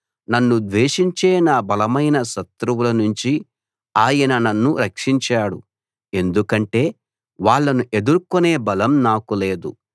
నన్ను ద్వేషించే నా బలమైన శత్రువులనుంచి ఆయన నన్ను రక్షించాడు ఎందుకంటే వాళ్ళను ఎదుర్కొనే బలం నాకు లేదు